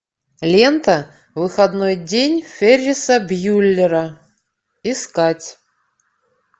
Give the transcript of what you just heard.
лента выходной день ферриса бьюллера искать